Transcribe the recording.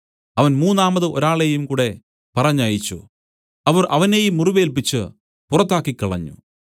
അവൻ മൂന്നാമതു ഒരാളെയും കൂടെ പറഞ്ഞയച്ചു അവർ അവനെയും മുറിവേല്പിച്ചു പുറത്താക്കിക്കളഞ്ഞു